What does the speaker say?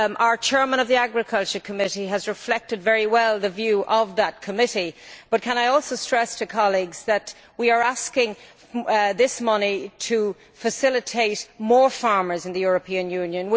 The chairman of the Agriculture Committee has reflected very well the view of that committee, but can I also stress to colleagues that we are asking for this money to facilitate more farmers in the European Union.